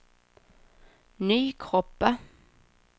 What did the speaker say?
Nykroppa